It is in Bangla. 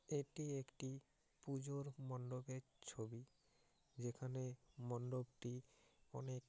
এটি একটি পুজোর মণ্ডপের ছবি যেখানে মণ্ডপটি অনেক--